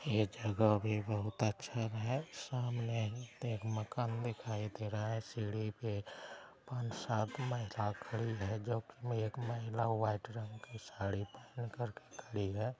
यह जगह भी बहुत अच्छा है| सामने वहाँ पे एक मकान दिखाई दे रहा है सीढ़ी पे पाँच-सात महिला खड़ी है जोकि एक महिला वाईट रंग की साड़ी पेहन कर खड़ी है ।